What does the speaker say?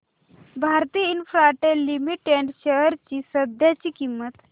Bharti Infratel limited shares ची सध्याची किंमत